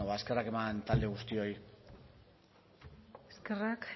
ba eskerrak eman talde guztioi eskerrak